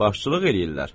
Başçılıq eləyirlər.